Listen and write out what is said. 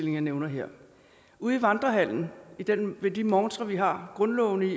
jeg nævner her ude i vandrehallen ved de montrer vi har grundlovene